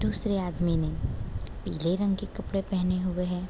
दूसरे आदमी ने पीले रंग के पहने हुए है।